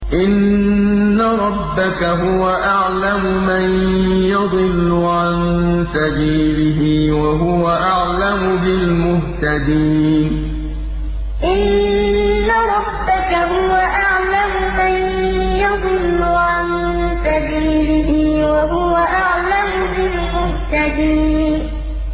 إِنَّ رَبَّكَ هُوَ أَعْلَمُ مَن يَضِلُّ عَن سَبِيلِهِ ۖ وَهُوَ أَعْلَمُ بِالْمُهْتَدِينَ إِنَّ رَبَّكَ هُوَ أَعْلَمُ مَن يَضِلُّ عَن سَبِيلِهِ ۖ وَهُوَ أَعْلَمُ بِالْمُهْتَدِينَ